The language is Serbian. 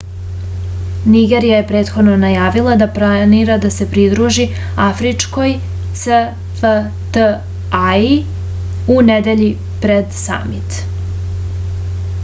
nigerija je prethodno najavila da planira da se pridruži afričkoj cfta-i u nedelji pred samit